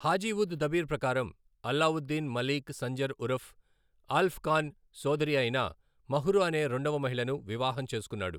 హాజీ ఉద్ దబీర్ ప్రకారం, అలావుద్దీన్, మలీక్ సంజర్ ఉరఫ్ ఆల్ప్ ఖాన్ సోదరి అయిన మహ్రు అనే రెండవ మహిళను వివాహం చేసుకున్నాడు.